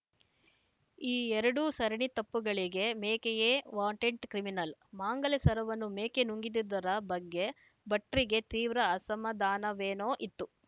ಈ ಎರಡೂ ಸರಣಿ ತಪ್ಪುಗಳಿಗೆ ಮೇಕೆಯೇ ವಾಂಟೆಡ್‌ ಕ್ರಿಮಿನಲ್‌ ಮಾಂಗಲ್ಯ ಸರವನ್ನು ಮೇಕೆ ನುಂಗಿದುದರ ಬಗ್ಗೆ ಭಟ್ರಿಗೆ ತೀವ್ರ ಅಸಮಧಾನವೇನೋ ಇತ್ತು